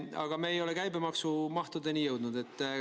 Aga me ei ole käibemaksu mahtudeni jõudnud.